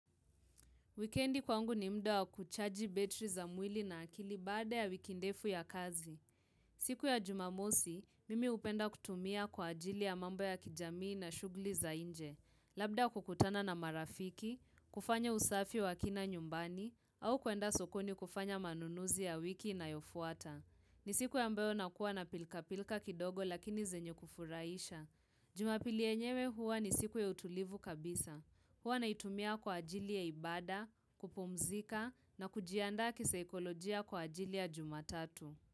Wikendi kwangu ni mda wa kuchaji betri za mwili na akili baada ya wiki ndefu ya kazi. Siku ya jumamosi, mimi hupenda kutumia kwa ajili ya mambo ya kijamii na shugli za inje. Labda kukutana na marafiki, kufanya usafi wa kina nyumbani, au kuenda sokoni kufanya manunuzi ya wiki inayofuata. Ni siku ambayo nakuwa na pilka-pilka kidogo lakini zenye kufuraisha. Jumapili yenyewe huwa ni siku ya utulivu kabisa. Huwa naitumia kwa ajili ya ibada, kupumzika na kujiandaa kisaikolojia kwa ajili ya jumatatu.